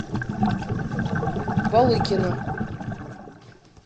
балыкина